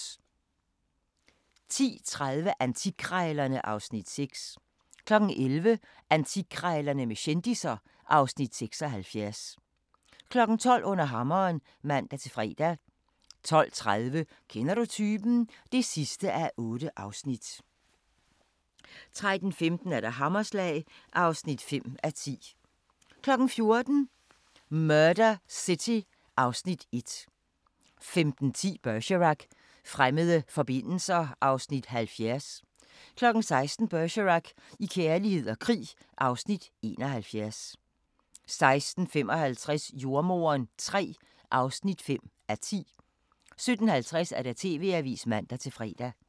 10:30: Antikkrejlerne (Afs. 6) 11:00: Antikkrejlerne med kendisser (Afs. 76) 12:00: Under hammeren (man-fre) 12:30: Kender du typen? (8:8) 13:15: Hammerslag (5:10) 14:00: Murder City (Afs. 1) 15:10: Bergerac: Fremmede forbindelser (Afs. 70) 16:00: Bergerac: I kærlighed og krig (Afs. 71) 16:55: Jordemoderen III (5:10) 17:50: TV-avisen (man-fre)